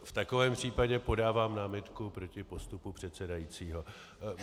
V takovém případě podávám námitku proti postupu předsedajícího.